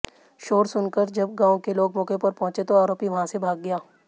शोर सुनकर जब गांव के लोग मौके पर पहुंचे तो आरोपी वहां से भाग गया